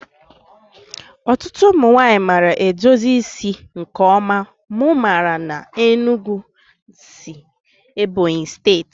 Ọtụtụ ụmụ nwanyị maara edozi isi nke ọma mụ maara n'Enugu si Ebonyi steeti